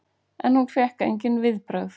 En hún fékk engin viðbrögð.